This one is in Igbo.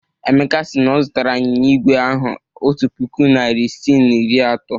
Emeka si na ọ zụtara anyịnya igwe ahụ otu puku naịra isii na iri atọ.